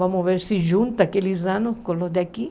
Vamos ver se junta aqueles anos com os daqui.